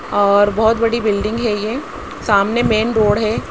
और बहोत बड़ी बिल्डिंग है ये सामने मेन रोड है।